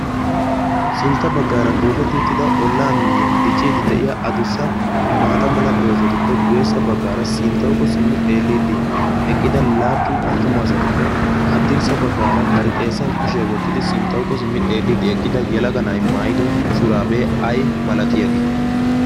sintta baggaara booketti uttida ollaa miiyiyan dicciidi de'iya adussa maata mala doozatuppe guessa baggaara sinttaukko simmi xeelliiddi eqqida laappun attuma asatuppe haddirssa baggaara bari xeessan kushiyaa wottidi sinttaukko simmi xeelliiddi eqqida yalaga na'i maayido shuraabee ay malati yaagee?